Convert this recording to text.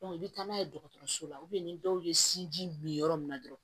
i bɛ taa n'a ye dɔgɔtɔrɔso la ni dɔw ye sinji min yɔrɔ min na dɔrɔn